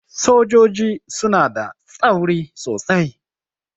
Sojoji suna da tsauri sosai.